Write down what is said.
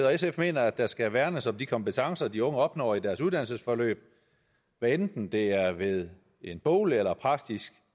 og sf mener at der skal værnes om de kompetencer de unge opnår i deres uddannelsesforløb hvad enten det er ved en boglig eller en praktisk